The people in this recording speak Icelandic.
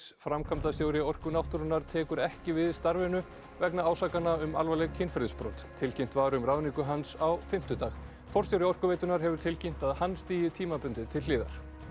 framkvæmdastjóri Orku náttúrunnar tekur ekki við starfinu vegna ásakana um alvarleg kynferðisbrot tilkynnt var um ráðningu hans á fimmtudag forstjóri Orkuveitunnar hefur tilkynnt að hann stígi tímabundið til hliðar